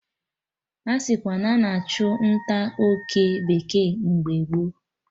Asikwa na a na-achụ nta oke bekee mgbe gboo